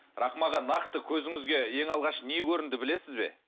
рахым аға нақты көзіңізге ең алғаш не көрінді білесіз бе